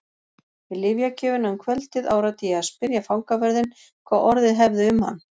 Við lyfjagjöfina um kvöldið áræddi ég að spyrja fangavörðinn hvað orðið hefði um hann.